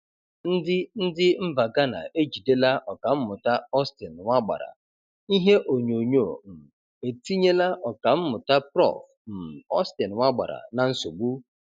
Ndi Ndi mba Ghana ejidela ọkanmuta Austin Nwagbara:Ihe onyonyo um etinyela ọkammụta Prof um Austin Nwagbara na nsogbu?